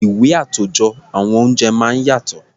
Ìwé àtòjọ àwọn oúnjẹ máa ń yàtọ̀.